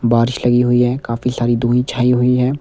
बारिश लगी हुई है काफी सारी दुही छाई हुई है।